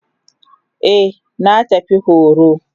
Eh na tafi horo.